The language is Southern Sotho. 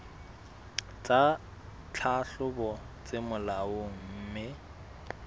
tsa tlhahlobo tse molaong mme